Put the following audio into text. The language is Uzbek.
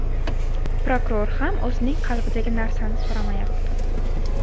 Prokuror ham o‘zining qalbidagi narsani so‘ramayapti.